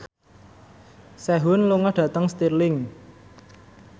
Sehun lunga dhateng Stirling